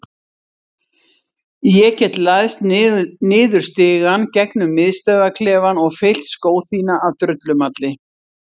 Ég get læðst niður stigann gegnum miðstöðvarklefann og fyllt skó þína af drullumalli.